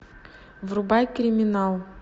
врубай криминал